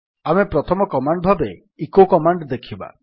ଆମେ ପ୍ରଥମ କମାଣ୍ଡ ଭାବେ ଇକୋ କମାଣ୍ଡ୍ ଦେଖିବା